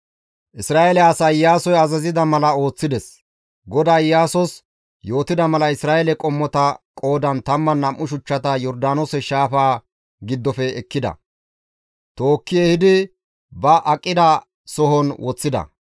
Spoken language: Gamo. Isra7eele asay Iyaasoy azazida mala ooththides; GODAY Iyaasos yootida mala Isra7eele qommota qoodan 12 shuchchata Yordaanoose shaafaa giddofe ekkida; tookki ehidi ba aqida sohon woththida.